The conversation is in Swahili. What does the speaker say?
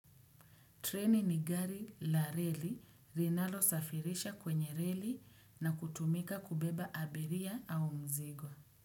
Treni ni gari la reli rinalo safirisha kwenye reli na kutumika kubeba abiria au mzigo.